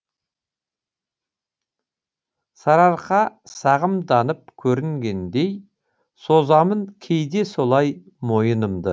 сарыарқа сағымданып көрінгендей созамын кейде солай мойынымды